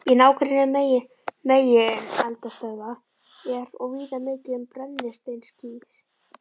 Í nágrenni megineldstöðva er og víða mikið um brennisteinskís.